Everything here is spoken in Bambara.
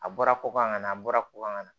A bɔra ko na a bɔra ko ka na